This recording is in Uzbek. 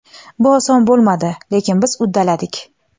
Bu oson bo‘lmadi, lekin biz uddaladik.